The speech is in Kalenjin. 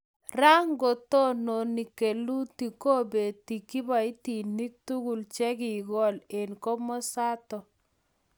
ra ko ng'otoni kolutik kobitei kiboitinik tuguk chekikool eng komosato